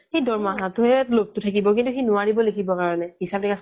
সি দৰমহাটোহে লোভটো থাকিব কিন্তু সি নোৱাৰিব লিখিব কাৰণে হিচাপ নিকাচ